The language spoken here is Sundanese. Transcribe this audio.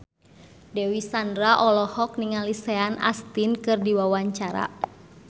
Dewi Sandra olohok ningali Sean Astin keur diwawancara